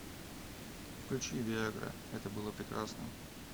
включи виа гра это было прекрасно